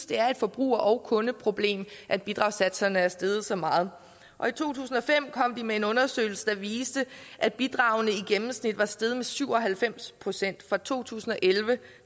det er et forbruger og kundeproblem at bidragssatserne er steget så meget og i to tusind og fem kom de med en undersøgelse der viste at bidragene i gennemsnit var steget med syv og halvfems procent fra to tusind og elleve